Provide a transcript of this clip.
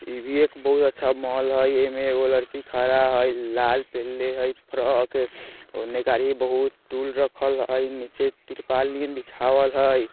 ई भी एक बहुत अच्छा मोल हय ऐमे एगो लड़की खड़ा हय लाल पेहन्ले हई फ्रॉक हय उन्ने कारी बहुत टूल रखल हय नीचे तिरपाल नियन बीछावल हय।